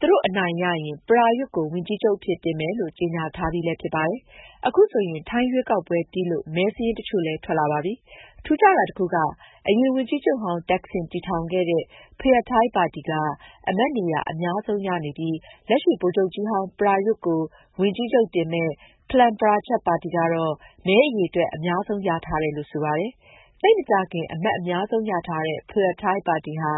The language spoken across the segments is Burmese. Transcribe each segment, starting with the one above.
သူတို့အနိုင်ရရင် ပရာယွတ်ကို ဝန်ကြီးချုပ် အဖြစ် တင်မယ်လို့ ကြေငြာထားပြီလည်း ဖြစ်ပါတယ်။ အခုဆိုရင် ထိုင်းရွေးကောက်ပွဲပြီးလု့ိ မဲစာရင်း တစ်ချို့လည်း ထွက်လာပါပြီ။ ထူးခြားတာ တစ်ခုက အရင် ဝန်ကြီးချုပ်ဟောင်း သက်ဆင် တည်ထောင်ခဲ့တဲ့ ဖုရာထိုင်းပါတီက အမတ်နေရာ အများဆုံးရနေပြီး လက်ရှိ ဗိုလ်ချုပ်ကြီးဟောင်း ပရာယွတ်ကို ဝန်ကြီးချုပ်တင်မယ့် ဖလန်းပချားရတ် ပါတီ ကတော့ မဲအရေအတွက် အများဆုံး ရထားတယ်လို့ ဆိုပါတယ်။ သိပ်မကြာခင် အမတ်အများဆုံးရထားတဲ့ ဖုရာထိုင်းပါတီဟာ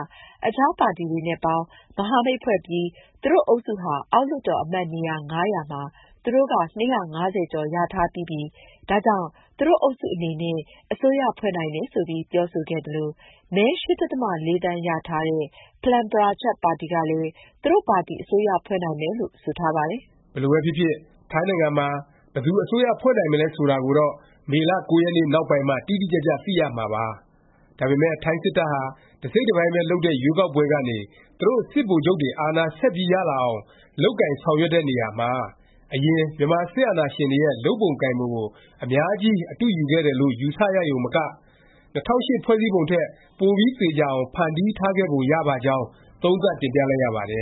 အခြား ပါတီတွေနဲ့ပေါင်း၊ မဟာမိတ်ဖွဲ့ပြီး သူတို့ အုပ်စုဟာ အောက်လွှတ်တော် အမတ်နေရာ ၅၀၀ မှာ သူတို့က ၂၅၀ ကျော်ရထားပြီးပြီ၊ ဒါကြောင့် သူတို့အုပ်စု အနေနဲ့ အစိုးရဖွဲ့နိုင်တယ် ဆိုပြီး ပြောဆိုခဲ့သလို၊ မဲ ၈ ဒသမ ၄ သန်းရထားတဲ့ ဖလန်းပချားရတ် ပါတီကလည်း သူတို့ပါတီ အစိုးရဖွဲ့နိုင်မယ်လို့ ဆိုထားပါတယ်။ ဒါပေမယ့် ထိုင်းစစ်တပ်ဟာ တစ်စိတ်တစ်ပိုင်းပဲ လုပ်တဲ့ ရွေးကောက်ပွဲကနေ သူတို့ စစ်ဗိုလ်ချုပ်တွေ အာဏာ ဆက်ပြီးရလာအောင် လုပ်ကိုင်ဆောင်ရွက်တဲ့နေရာမှာ အရင် မြန်မာ စစ်အာဏာရှင်တွေရဲ့ လုပ်ပုံကိုင်ပုံကို အများကြီး အတုယူခဲ့တယ်လို့ယူဆရရုံမက ၂၀၀၈ ဖွဲ့စည်းပုံထက် ပိုပြီး သေခြာအောင် ဖန်တီးထားခဲ့ပုံရပါကြောင်း သုံးသပ်တင်ပြလိုက်ရပါတယ